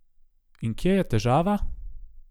In kje je težava?